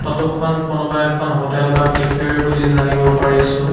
ফটোখন কোনোবা এখন হোটেল বা কেফেৰ বুলি জানিব পাৰিছোঁ।